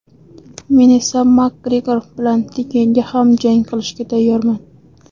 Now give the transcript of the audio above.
Men esa MakGregor bilan tekinga ham jang qilishga tayyorman.